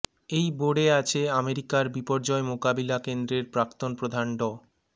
এই বোর্ডে আছে আমেরিকার বিপর্যয় মোকাবিলা কেন্দ্রের প্রাক্তন প্রধান ড